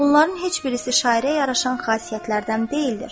Bunların heç birisi şairə yaraşan xasiyyətlərdən deyildir.